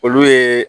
Olu ye